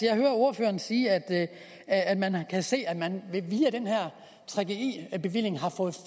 jeg hører ordføreren sige at at man kan se at man via den her gggi bevilling har fået